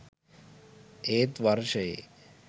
ඒත් වර්ෂයේ